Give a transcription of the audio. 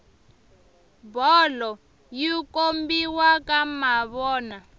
bolo yi kombiwa ka mavona